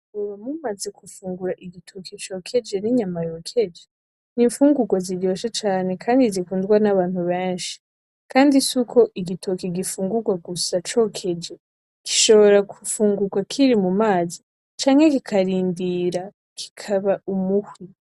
Mwoba mumaze gufungura igitoki cokeje n'inyama yokeje n'imfugurwa ziryoshe cane kandi zikundwa n'abantu beshi kandi suko igitoki gifungurwa gusa cokeje gishobora gufungurwa kiri mu mazi canke kikarindira kikaba umuhwi.